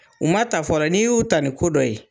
U ma ta fɔlɔ, n'i y'u ta ni ko dɔ ye.